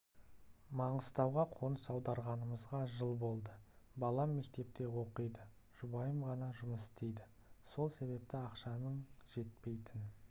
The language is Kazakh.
маңғыстауға қоныс аударғанымызға жыл болды балам мектепте оқиды жұбайым ғана жұмыс істейді сол себепті ақшаның жетпейтін